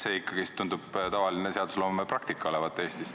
See tundub olevat Eestis tavaline seadusloome praktika.